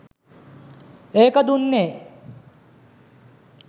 ඒක දුන්නේ